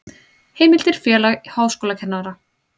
Heimildir Félag háskólakennara.